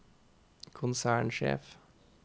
konsernsjef